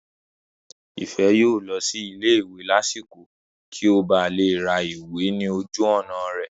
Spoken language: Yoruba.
Ìfẹ́ yóò lọ sí ilé ìwé lásìkò kí ó ba lè ra ìwé ní ojú ọ̀nà rẹ̀